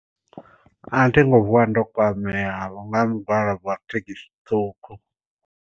A thi ngo vuwa ndo kwamea vho nga mu gwalabo wa thekhisi ṱhukhu.